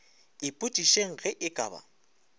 ipotšišeng ge e ka ba